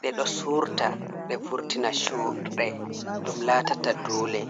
ɗe ɗo suurta ɗe vurtina chuurɗe ɗum laatata duule.